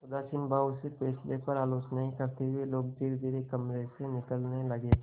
उदासीन भाव से फैसले पर आलोचनाऍं करते हुए लोग धीरेधीरे कमरे से निकलने लगे